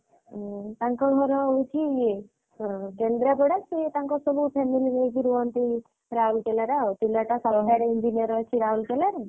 ହୁଁ ତାଙ୍କ ଘର ହଉଛି କେନ୍ଦ୍ରାପଡ଼ା ସିଏ ତାଙ୍କ ସବୁ family ହଉଛି ରୁହନ୍ତି ରାଉଲକେଲା ରେ ଆଉ ପିଲାଟା ସରକାରୀ Engineer ଅଛି ରାଉଲକେଲାରେ।